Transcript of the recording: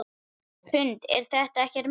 Hrund: Er þetta ekkert mál?